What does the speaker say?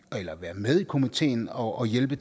eller være med i komiteen og hjælpe